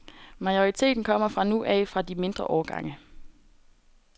Majoriteten kommer fra nu af fra de mindre årgange.